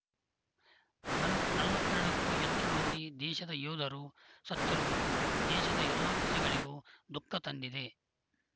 ನಲವತ್ ನಲವತ್ತೆರಡಕ್ಕೂ ಹೆಚ್ಚು ಮಂದಿ ದೇಶದ ಯೋಧರು ಸತ್ತಿರುವುದು ದೇಶದ ಎಲ್ಲ ಪ್ರಜೆಗಳಿಗೂ ದುಃಖ ತಂದಿದೆ